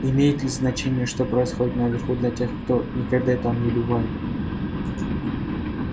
имеет ли значение что происходит наверху для тех кто никогда там не бывает